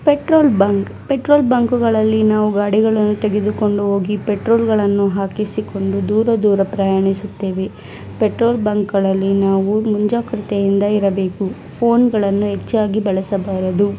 Petrol bunk petrol ಬಂಕ್ಗಳಲ್ಲಿ ನಾವು ಗಾಡಿ ಗಳನ್ನು ತೆಗೆದುಕೊಂಡು ಹೋಗಿ ಪೆಟ್ರೋಲ್ ಹಾಕಿಸಿಕೊಂಡು ದೂರ ದೂರ ಪ್ರಯಾಣಿಸುತ್ತೆವೆ ಪೆಟ್ರೋಲ್ ಬಂಕ್ ಗಳಲ್ಲಿ ನಾವು ಮುಂಜಾಗೃಗತ್ತೆ ಇಂದ ಇರಬೇಕು ಫೋನ್ಗಳನ್ನು ಹೆಚ್ಚಾಗಿ ಬಳಸಬಾರದು.